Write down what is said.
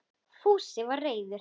Fúsi var reiður.